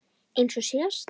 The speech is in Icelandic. Eins og síðast?